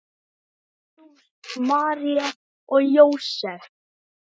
Jesús, María og Jósef!